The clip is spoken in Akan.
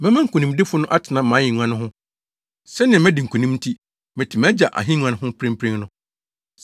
Mɛma nkonimdifo no atena mʼahengua no ho, sɛnea madi nkonim nti, mete mʼAgya ahengua ho mprempren no.